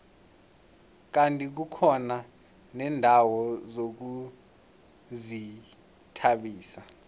kandi kukhona neendawo zokuzithabisa